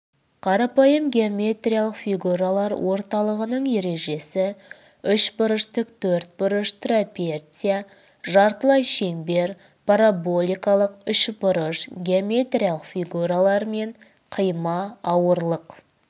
қарапайым геометриялық фигуралар орталығының ережесі үшбұрыш тіктөртбұрыш трапеция жартылай шеңбер параболикалық үшбұрыш геометриялық фигуралар мен қима ауырлық